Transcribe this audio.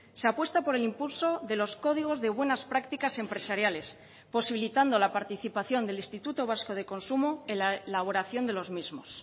se apuesta por el impulso de los códigos de buenas prácticas empresariales posibilitando la participación del instituto vasco de consumo en la elaboración de los mismos